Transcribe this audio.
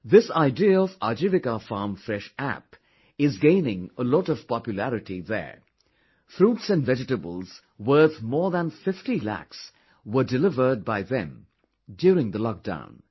This idea of 'Ajivika farm fresh' app is gaining a lot of popularity there fruits and vegetables worth more than 50 Lakhs were delivered by them during the lockdown